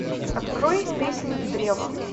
открой песнь древа